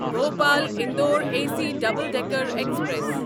Bhopal Indore A C double decker express